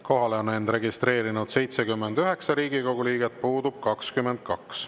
Kohale on end registreerinud 79 Riigikogu liiget, puudub 22.